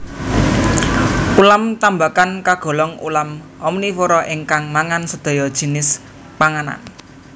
Ulam tambakan kagolong ulam omnivora ingkang mangan sedaya jinis panganan